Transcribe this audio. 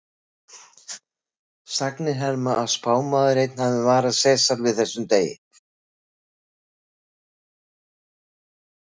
Sagnir herma að spámaður einn hafi varað Sesar við þessum degi.